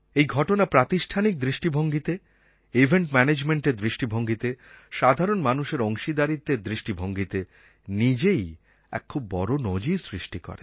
এই ঘটনা প্রাতিষ্ঠানিক দৃষ্টিভঙ্গীতে ইভেন্ট ম্যানেজমেন্টের দৃষ্টিভঙ্গিতে সাধারণ মানুষের অংশীদারীত্বের দৃষ্টিভঙ্গীতে নিজেই এক খুব বড়ো নজির সৃষ্টি করে